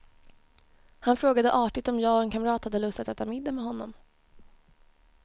Han frågade artigt om jag och en kamrat hade lust att äta middag med honom.